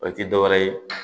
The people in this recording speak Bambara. O tɛ dɔwɛrɛ ye